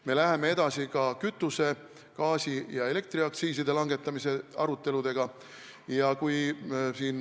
Me läheme edasi ka kütuse-, gaasi- ja elektriaktsiisi langetamise aruteludega.